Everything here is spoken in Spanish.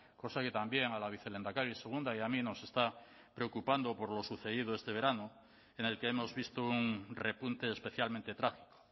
cosa que también a la vicelehendakari segunda y a mí nos está preocupando por lo sucedido este verano en el que hemos visto un repunte especialmente trágico